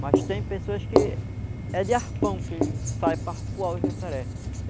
Mas tem pessoas que é de arpão que ele sai para arpoar o jacaré.